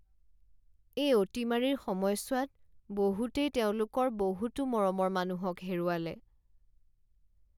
এই অতিমাৰীৰ সময়ছোৱাত বহুতেই তেওঁলোকৰ বহুতো মৰমৰ মানুহক হেৰুৱালে।